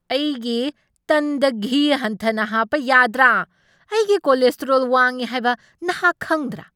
ꯑꯩꯒꯤ ꯇꯟꯗ ꯘꯤ ꯍꯟꯊꯅ ꯍꯥꯞꯄ ꯌꯥꯗ꯭ꯔꯥ? ꯑꯩꯒꯤ ꯀꯣꯂꯦꯁꯇꯦꯔꯣꯜ ꯋꯥꯡꯢ ꯍꯥꯏꯕ ꯅꯍꯥꯛ ꯈꯪꯗ꯭ꯔꯥ?